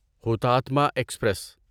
ہوتاتما express